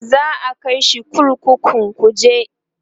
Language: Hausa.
za'a kaishi kurkukun kuje